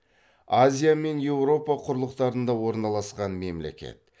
азия мен еуропа құрлықтарында орналасқан мемлекет